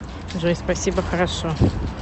джой спасибо хорошо